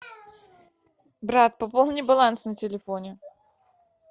брат пополни баланс на телефоне